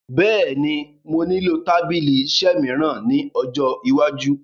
Bẹ́è ni, mo nílò tábìlì-iṣẹ́ mìíràn ní ọjọ́ iwájú.